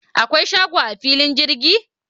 akwai shago a filin jirgin?